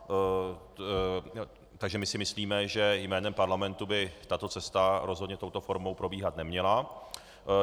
Takže my si myslíme, že jménem parlamentu by tato cesta rozhodně touto formou probíhat neměla.